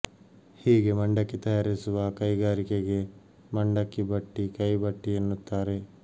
ಹೀಗೆ ಮಂಡಕ್ಕಿ ತಯಾರಿಸುವ ಕೈಗಾರಿಕೆಗೆ ಮಂಡಕ್ಕಿ ಬಟ್ಟಿ ಕೈ ಬಟ್ಟಿ ಎನ್ನುತ್ತಾರೆ